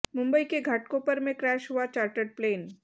मुंबई के घाटकोपर में क्रैश हुआ चार्टर्ड प्लेन